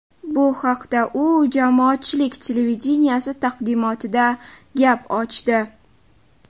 Bu haqda u Jamoatchilik televideniyesi taqdimotida gap ochdi.